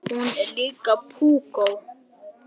Hún er líka púkó.